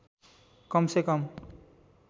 कम से कम